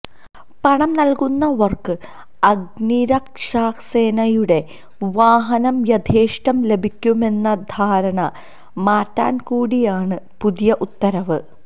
പണംനല്കുന്നവര്ക്ക് അഗ്നിരക്ഷാസേനയുടെ വാഹനം യഥേഷ്ടം ലഭിക്കുമെന്ന ധാരണ മാറ്റാന്കൂടിയാണ് പുതിയ ഉത്തരവ്